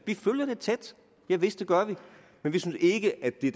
vi følger det tæt javist det gør vi men vi synes ikke at det